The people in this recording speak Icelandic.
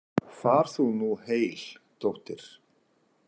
Far þú nú heil, dóttir.